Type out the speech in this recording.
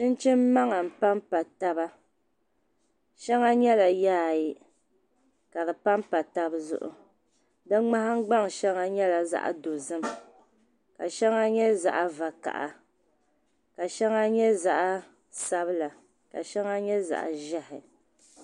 Chinchini maŋa npan pa taba shaŋa nyala yaayi ka di pan pa tab zuɣu di mŋahin gba ŋ shaŋa nyɛla zaɣi dozim, ka shaŋa nyɛ zaɣi vakaha ka shaŋa nyɛ zaɣi sabila, ka shaŋa nyɛ zaɣi zɛhi